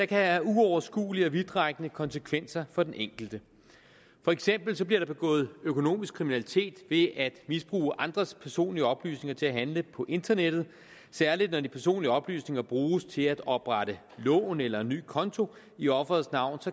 kan have uoverskuelige og vidtrækkende konsekvenser for den enkelte for eksempel bliver der begået økonomisk kriminalitet ved at misbruge andres personlige oplysninger til at handle på internettet særlig når de personlige oplysninger bruges til at oprette lån eller en ny konto i offerets navn